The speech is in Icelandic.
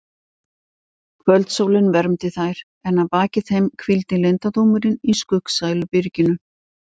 Kvöldsólin vermdi þær en að baki þeim hvíldi leyndardómurinn í skuggsælu byrginu.